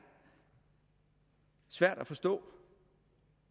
svært at forstå